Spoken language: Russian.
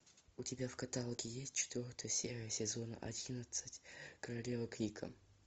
у тебя в каталоге есть четвертая серия сезона одиннадцать королева крика